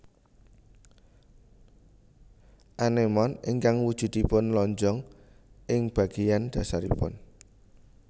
Anémon ingkang wujuduipun lonjong ing bagéyan dhasaripun